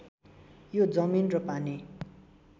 यो जमिन र पानी